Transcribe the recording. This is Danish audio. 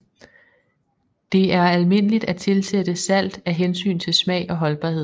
Det er almindeligt at tilsætte salt af hensyn til smag og holdbarhed